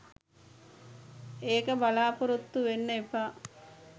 ඒක බලාපොරොත්තු වෙන්න එපා.